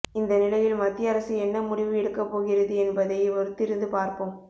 இந்த நிலையில் மத்திய அரசு என்ன முடிவு எடுக்கா பொகிறது என்பதை பொறுத்திருந்து பார்ப்போம்